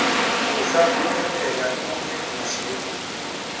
kudla kuyenteka kube nashevu